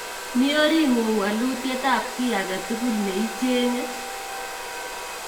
Mi oring'ung' walutyet ap kiy ake tukul ne icheng'e